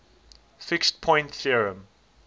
fixed point theorem